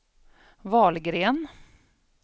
Wahlgren